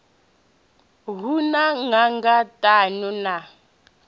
hu na nanga ṱhanu na